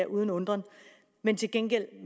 uden undren men til gengæld